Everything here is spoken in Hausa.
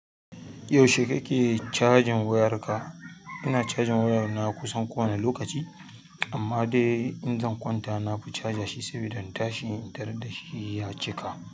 Yaushe kake cajin wayarka? Ina cajin waya na kusan kowane lokaci, amma dai in zan kwanta nafi caja shi saboda in tashi intaraddashi ya cika.